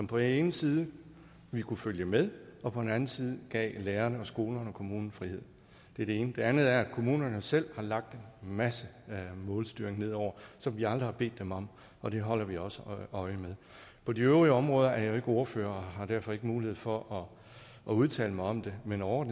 på den ene side kunne følge med og på den anden side gav lærerne og skolerne og kommunerne frihed det er det ene det andet er at kommunerne selv har lagt en masse målstyring ned over som vi aldrig har bedt dem om og det holder vi også øje med på de øvrige områder er jeg jo ordfører og har derfor ikke mulighed for at udtale mig om det men overordnet